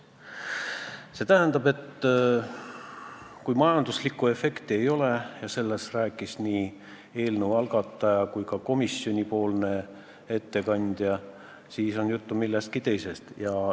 See tähendab, et kui öeldakse, et majanduslikku efekti ei ole – ja sellest rääkis nii eelnõu algataja esindaja kui ka komisjoni ettekandja –, siis on jutt millestki muust.